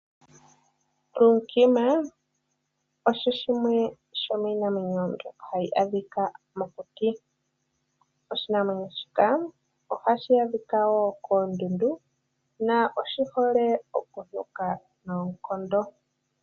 Lunkima osho shimwe sho miinamwenyo mbyoka hayi adhika mokuti. Oshinamwenyo shika ohashi adhika woo koondudu na oshi hole okunuka noonkondo.